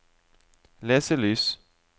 leselys